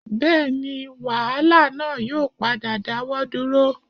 Bẹ́ẹ̀ni wàhálà náà yóò padà dáwọ́ dúró